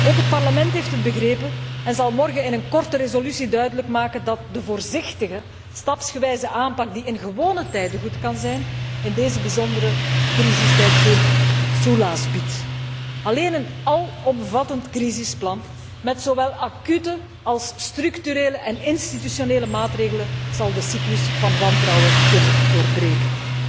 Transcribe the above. Ook het Parlement heeft het begrepen, en zal morgen in een korte resolutie duidelijk maken dat de voorzichtige, stapsgewijze aanpak die in gewone tijden goed kan zijn, in deze bijzondere crisistijd geen soelaas biedt. Alleen een alomvattend crisisplan, met zowel acute als structurele en institutionele maatregelen, zal de cyclus van wantrouwen kunnen doorbreken.